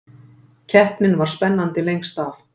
Keppnin var spennandi lengst af